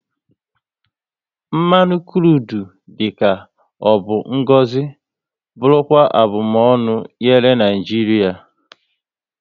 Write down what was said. Mmanụ krudu dị ka ọ bụ ngọzi bụrụkwa abumonu nyere Naijiria